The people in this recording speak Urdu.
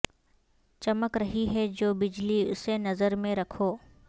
چمک رہی ہے جو بجلی اسے نظر میں رکھو